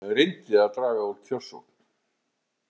Reyndi að draga úr kjörsókn